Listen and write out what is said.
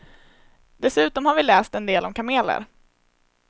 Dessutom har vi läst en del om kameler.